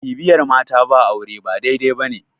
bibiyar mata ba aure ba dai- dai ba ne